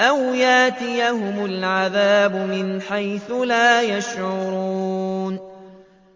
أَوْ يَأْتِيَهُمُ الْعَذَابُ مِنْ حَيْثُ لَا يَشْعُرُونَ